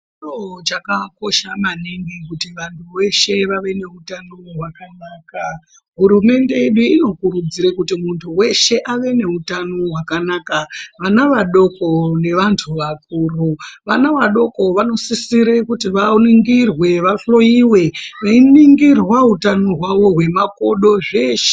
Chiro chakakosha maningi kuti vantu veshe vave neutano hwakanaka. Hurumende ino inokurudzire kuti muntu weshe ave neutano hwakanaka. Vana vadoko nevantu vakuru. Vana vadoko vanosisire kuti vaningirwe, vahloyiwe, veiningirwa utano hwavo hwemakodo, zveshe...